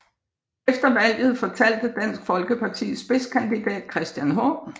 Efter valget fortalte Dansk Folkepartis spidskandidat Christian H